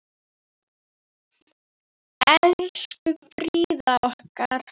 Elsku Fríða okkar.